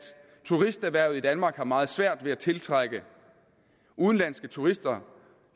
turisterhvervet i danmark har meget svært ved at tiltrække udenlandske turister